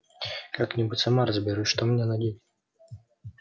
как-нибудь сама разберусь что мне надеть